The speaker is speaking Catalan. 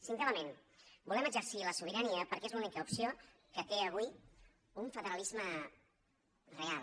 cinquè element volem exercir la sobirania perquè és l’única opció que té avui un federalisme real